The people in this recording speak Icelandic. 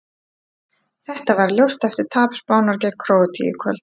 Þetta varð ljóst eftir tap Spánar gegn Króatíu í kvöld.